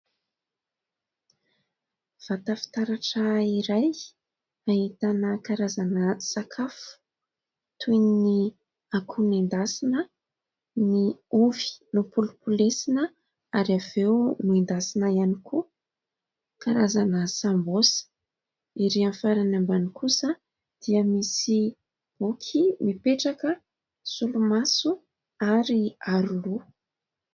Vata fitaratra iray ahitana karazana sakafo toy ny akoho nendasina, ny ovy nompolopolesina ary avy eo noendasina ihany koa, karazana sambosa. Ery amin'ny farany ambany kosa dia misy boky mipetraka, solomaso ary aroloha